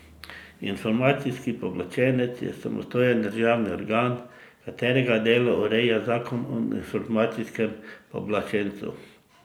Informacijski pooblaščenec je samostojen državni organ, katerega delo ureja zakon o informacijskem pooblaščencu.